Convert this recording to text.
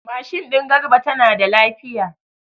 Mashin din Garba tana da lafiya.